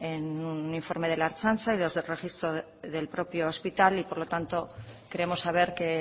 en el informe de la ertzaintza y los del registro del propio hospital por lo tanto queremos saber qué